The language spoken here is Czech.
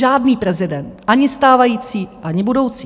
Žádný prezident, ani stávající, ani budoucí.